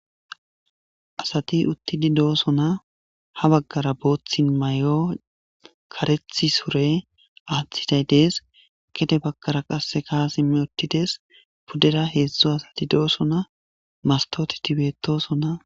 Asati utidi dosona ha bagara bothi mayo karethi sure atiday des gede bagara qaseka simi utides pudera bagara hedzu asati dosona mastoteti betosona.